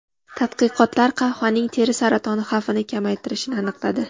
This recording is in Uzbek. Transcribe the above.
Tadqiqotlar qahvaning teri saratoni xavfini kamaytirishini aniqladi.